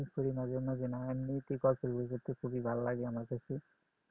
হ্যাঁ আমি পড়ি মাঝে মাঝে এমনিতেই গল্পের বই পড়তে খুবি ভালো লাগে আমার কাছে